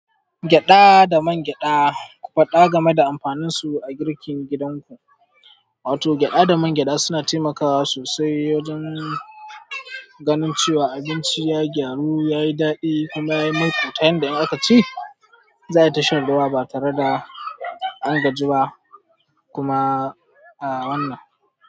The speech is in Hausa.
Gyaɗa da man gyaɗa, ku faɗa game da amfaninsu a girkin gidanku. Wato gyada da man gyada suna taimakawa sosai wajen ganin cewa abinci ya gyaru, yayi daɗi kuma ya yi muku tayin da in aka ci, za ayi ta shan ruwa ba tare da an gaji ba. Kuma a wannan.